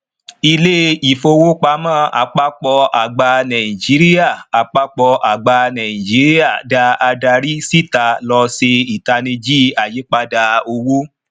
ilé ifowopamọ àpapọ àgbà nàìjíríà àpapọ àgbà nàìjíríà da adari síta lọ ṣe itaniji ayípadà owó